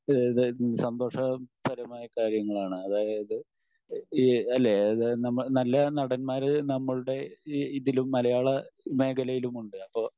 ഈഹ് ഇത് സന്തോഷപരമായ കാര്യങ്ങളാണ്. അതായത് ഈഹ് അല്ലെ നല്ല നടൻമാർ നമ്മളുടെ ഈ ഇതിലും മലയാള മേഖലയിലുമുണ്ട്.